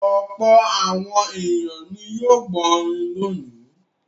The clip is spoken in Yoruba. Ọ̀pọ̀ àwọn ènìyàn ni yóò gbọ́ orin lónìí.